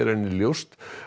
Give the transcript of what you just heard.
henni ljóst